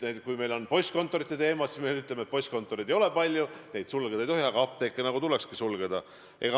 Kui meil on ülal postkontorite teema, siis me ütleme, et postkontoreid ei ole palju, neid sulgeda ei tohi, aga apteeke nagu tulekski sulgeda.